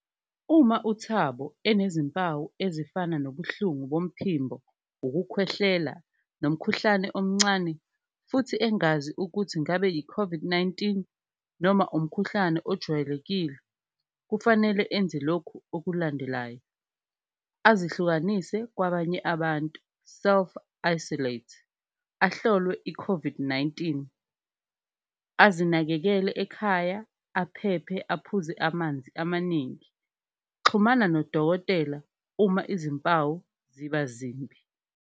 Uma uThabo enezimpawu ezifana nobuhlungu bomphimbo, ukukhwehlela nomkhuhlane omncane futhi engazi ukuthi ngabe yi-COVID-19 noma umkhuhlane ojwayelekile, kufanele enze lokhu okulandelayo. Azihlukanise kwabanye abantu self-isolate, ahlolwe i-COVID-19, azinakekele ekhaya, aphephe, aphuze amanzi amaningi, xhumana nodokotela uma izimpawu ziba zimbi.